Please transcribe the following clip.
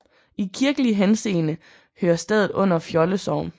I kirkelig henseende hører stedet under Fjolde Sogn